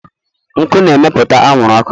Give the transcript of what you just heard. nkụ na-emepụta anwụrụ ọkụ.